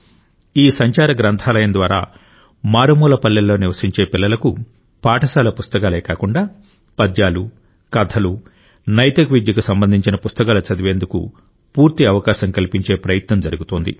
ఈ సంచార గ్రంథాలయం ద్వారా మారుమూల పల్లెల్లో నివసించే పిల్లలకు పాఠశాల పుస్తకాలే కాకుండా పద్యాలు కథలు నైతిక విద్యకు సంబంధించిన పుస్తకాలు చదివేందుకు పూర్తి అవకాశం కల్పించే ప్రయత్నం జరుగుతోంది